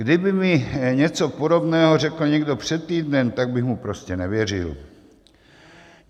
Kdyby mi něco podobného řekl někdo před týdnem, tak bych mu prostě nevěřil.